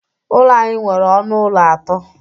Ụlọ anyị nwere ọnụ ụlọ atọ.